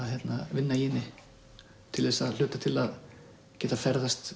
vinna í henni til þess að hluta til að geta ferðast